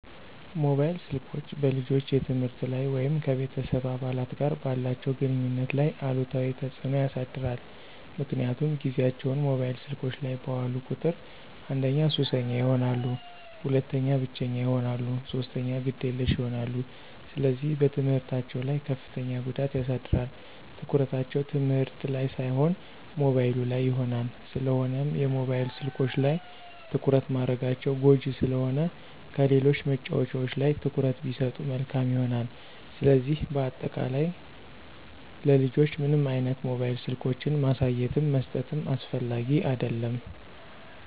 ሞባይል ስልኮች በልጆች የትምህርት ላይ ወይም ከቤተሰብ አባላት ጋር ባላቸው ግንኙነት ላይ አሉታዊ ተጽዕኖ ያሳድራል ምክንያቱም ጊዚያቸውን ሞባይል ስልኮች ላይ ባዋሉ ቁጥር አንደኛ ሱሰኛ ይሆናሉ፣ ሁለተኛ ብቸኛ ይሆናሉ፣ ሶስተኛ ግዴለሽ ይሆናሉ፣ ስለዚህ በትምህርታቸው ላይ ከፍተኛ ጉዳት ያሳድራል፣ ትኩረታቸው ትምህርት ላን ሳይሆን ሞባይሉ ላይ ይሆናል። ስለሆነም የሞባይል ስልኮች ላይ ትኩረት ማድረጋቸው ጎጅ ስለሆነ ከሌሎች መጫዎቻዎች ላይ ትኩረት ቢሰጡ መልካም ይሆናል። ስለዚህ በአጠቃላይ ለልጆች ምንም አይነት ሞባይል ስልኮችን ማሳየትም መስጠትም አስፈላጊ አደለም።